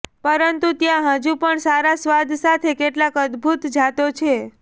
પરંતુ ત્યાં હજુ પણ સારા સ્વાદ સાથે કેટલાક અદ્ભુત જાતો છે